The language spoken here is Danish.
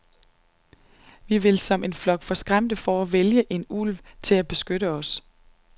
Vi vil, som en flok forskræmte får, vælge en ulv til at beskytte os.